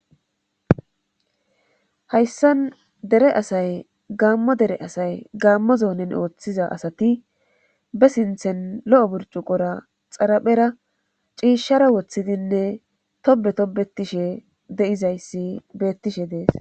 Hayssan dere asay gaammo dere asay gammo zoonen ooththiza asati be sinthen lo7o burcu qora xaraphera ciishshara woththidinne tobe tobetishe de7izayssi beettishe dees